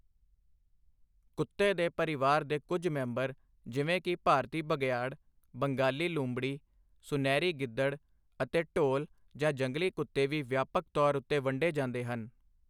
ਕੁੱਤੇ ਦੇ ਪਰਿਵਾਰ ਦੇ ਕੁੱਝ ਮੈਂਬਰ ਜਿਵੇਂ ਕਿ ਭਾਰਤੀ ਬਘਿਆੜ, ਬੰਗਾਲ ਲੂੰਬੜੀ, ਸੁਨਹਿਰੀ ਗਿੱਦੜ ਅਤੇ ਢੋਲ ਜਾਂ ਜੰਗਲੀ ਕੁੱਤੇ ਵੀ ਵਿਆਪਕ ਤੌਰ ਉੱਤੇ ਵੰਡੇ ਜਾਂਦੇ ਹਨ।